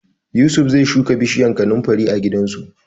Yusuf zai shuka bishiyar kanunfari a gidansu.